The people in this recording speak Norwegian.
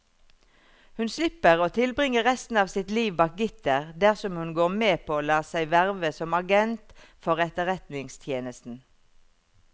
Hun slipper å tilbringe resten av sitt liv bak gitter dersom hun går med på å la seg verve som agent for etterretningstjenesten.